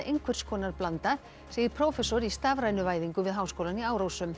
einhvers konar blanda segir prófessor í stafrænu væðingu við háskólann í Árósum